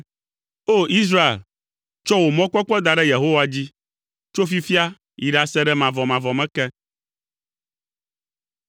O! Israel, tsɔ wò mɔkpɔkpɔ da ɖe Yehowa dzi, tso fifia yi ɖase ɖe mavɔmavɔ me ke.